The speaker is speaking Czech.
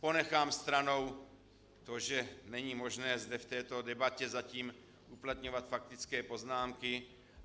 Ponechám stranou to, že není možné zde v této debatě zatím uplatňovat faktické poznámky.